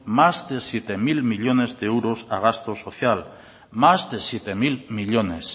más de siete mil millónes de euros a gasto social más de siete mil millónes